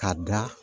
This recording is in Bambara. K'a da